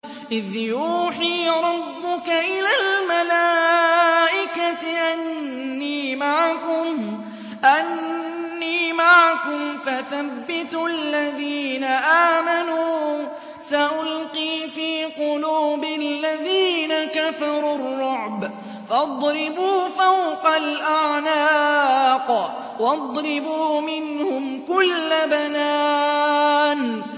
إِذْ يُوحِي رَبُّكَ إِلَى الْمَلَائِكَةِ أَنِّي مَعَكُمْ فَثَبِّتُوا الَّذِينَ آمَنُوا ۚ سَأُلْقِي فِي قُلُوبِ الَّذِينَ كَفَرُوا الرُّعْبَ فَاضْرِبُوا فَوْقَ الْأَعْنَاقِ وَاضْرِبُوا مِنْهُمْ كُلَّ بَنَانٍ